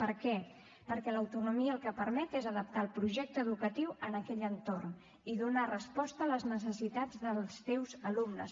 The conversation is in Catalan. per què perquè l’autonomia el que permet és adaptar el projecte educatiu a aquell entorn i donar resposta a les necessitats dels teus alumnes